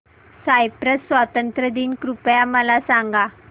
Cyprus स्वातंत्र्य दिन कृपया मला सांगा